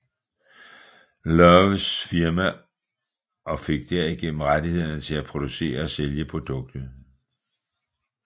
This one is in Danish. Lowes firma og fik derigennem rettighederne til at producere og sælge produktet